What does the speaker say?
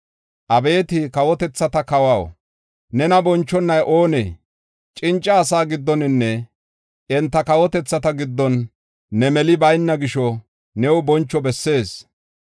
Abeeti kawotethata Kawaw, nena bonchonay oonee? Cinca asaa giddoninne enta kawotethaa giddon ne meli bayna gisho new boncho bessees.